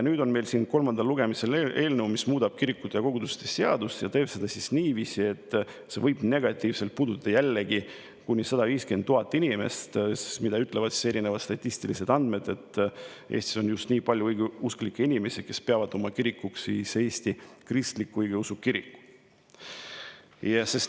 Nüüd on meil kolmandal lugemisel eelnõu, mis muudab kirikute ja koguduste seadust ning teeb seda niiviisi, et see võib jällegi negatiivselt puudutada kuni 150 000 inimest, sest erinevad statistilised andmed ütlevad, et Eestis on just nii palju õigeusklikke inimesi, kes peavad oma kirikuks Eesti Kristlikku Õigeusu Kirikut.